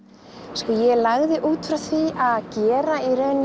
sko ég lagði út frá því að gera í rauninni